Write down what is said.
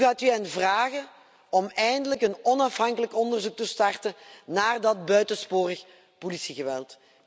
Hoe gaat u hen vragen om eindelijk een onafhankelijk onderzoek te starten naar dat buitensporig politiegeweld?